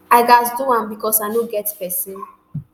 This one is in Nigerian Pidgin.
i gatz do am becos i no get pesin